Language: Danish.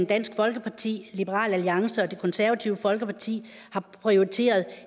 dansk folkeparti liberal alliance og det konservative folkeparti har prioriteret at